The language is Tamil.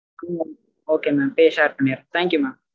okay mam place share பண்ணிறேன் thank you mam